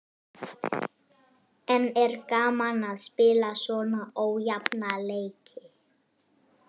En er gaman að spila svona ójafna leiki?